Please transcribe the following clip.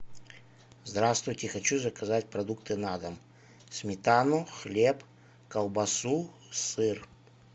здравствуйте хочу заказать продукты на дом сметану хлеб колбасу сыр